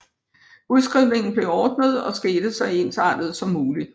Udskrivningen blev ordnet og skete så ensartet som muligt